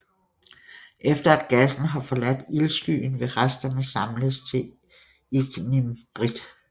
Efter at gassen har forladt ildskyen vil resterne samles til ignimbrit